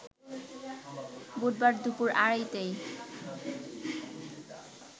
বুধবার দুপুর আড়াইটায়